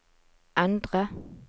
endre